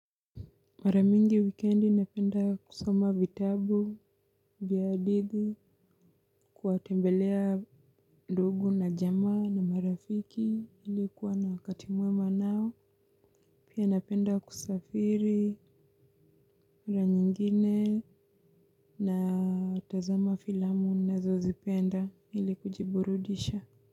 Mara mingi wikendi napenda kusoma vitabu, vya hadithi, kuwatembelea ndugu na jamaa na marafiki ili kuwa na wakati mwema nao. Pia napenda kusafiri ra nyingine natazama filamu ninazozipenda ili kujiburudisha.